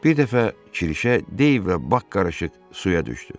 Bir dəfə Kişə, Deyv və Bak qarışıq suya düşdü.